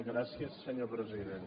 gràcies senyor president